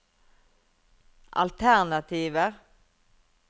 alternativer